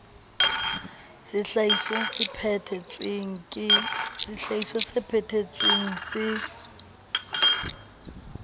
sehlahiswa se phethe tsweng se